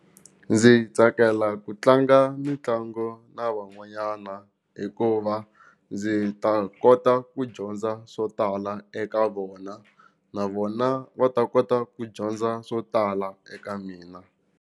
Ndzi tsakela ku tlanga mitlango na van'wanyana hikuva ndzi ta kota ku dyondza swo tala eka vona na vona va ta kota ku dyondza swo tala eka mina.